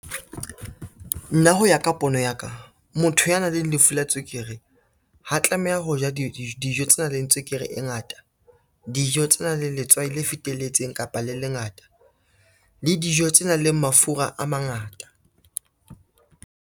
Nna ho ya ka pono ya ka, motho ya nang le lefu la tswekere ha tlameha ho ja dijo tse nang le tswekere e ngata, dijo tse nang le letswai le fetelletseng kapa le lengata, le dijo tse nang le mafura a mangata.